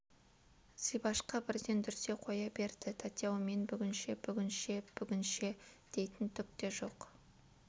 зибашқа бірден дүрсе қоя берді тәте-ау мен бүгінше бүгінше бүгінше дейтін түк те жоқ